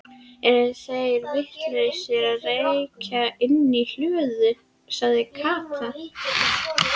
Eru þeir vitlausir að reykja inni í hlöðu? sagði Kata.